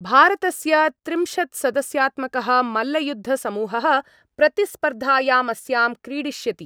भारतस्य त्रिंशत्सदस्यात्मकः मल्लयुद्धसमूहः प्रतिस्पर्धायामस्यां क्रीडिष्यति।